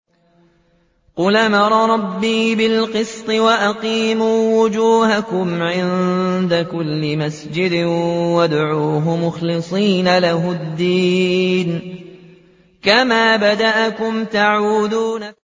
قُلْ أَمَرَ رَبِّي بِالْقِسْطِ ۖ وَأَقِيمُوا وُجُوهَكُمْ عِندَ كُلِّ مَسْجِدٍ وَادْعُوهُ مُخْلِصِينَ لَهُ الدِّينَ ۚ كَمَا بَدَأَكُمْ تَعُودُونَ